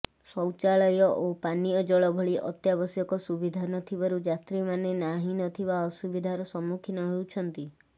ଶୌଚାଳୟ ଓ ପାନୀୟଜଳ ଭଳି ଅତ୍ୟାବଶ୍ୟକ ସୁବିଧା ନଥିବାରୁ ଯାତ୍ରୀମାନେ ନାହିଁ ନଥିବା ଅସୁବିଧାର ସମ୍ମୁଖୀନ ହେଉଛନ୍ତି